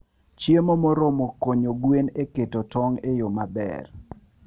Chiemo moromo konyo gwen e keto tong' e yo maber.